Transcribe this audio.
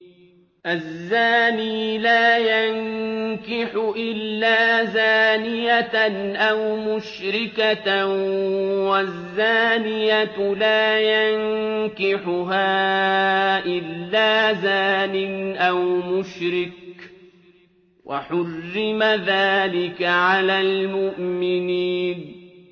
الزَّانِي لَا يَنكِحُ إِلَّا زَانِيَةً أَوْ مُشْرِكَةً وَالزَّانِيَةُ لَا يَنكِحُهَا إِلَّا زَانٍ أَوْ مُشْرِكٌ ۚ وَحُرِّمَ ذَٰلِكَ عَلَى الْمُؤْمِنِينَ